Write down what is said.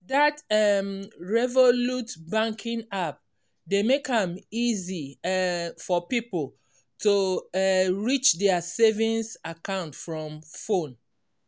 that um revolut banking app dey make am easy um for people to um reach their savings account from phone.